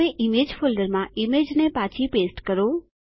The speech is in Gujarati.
હવે ઈમેજ ફોલ્ડરમાં ઈમેજને પાછી પેસ્ટ કરો